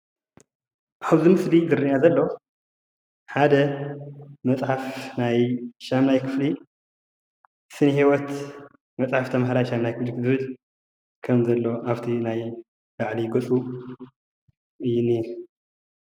ኣብዚ ምስሊ ዝረአየና ዘሎ ሓደ መፅሓፍ ናይ 8ይ ክፍሊ ስነ ህይወት መፅሓፍ ተምሃራይ 8ይ ክፍሊ ዝብል ከም ዘሎ ኣብቲ ላዕሊ ምስሊ እዩ ዝኒሀ፡፡